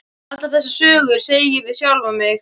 Allar þessar sögur, segi ég við sjálfan mig.